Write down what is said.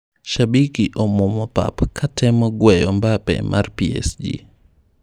Shabiki omuomo pap katemo gweyo Mbappe mar PSG.